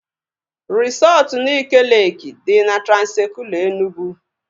Resọtu Nike Leeki dị na Transekulu Enugwu